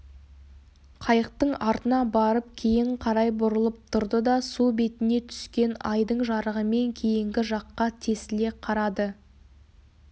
қайықтың артына барып кейін қарай бұрылып тұрды да су бетіне түскен айдың жарығымен кейінгі жаққа тесіле қарады